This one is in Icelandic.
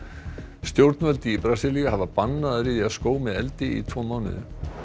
stjórnvöld í Brasilíu hafa bannað að ryðja skóg með eldi í tvo mánuði